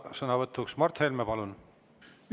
Ja vastusõnavõtt, Mart Helme, palun!